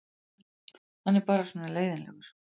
Hann er bara svona leiðinlegur.